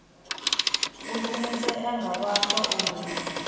u shumisea nga vhaswa uri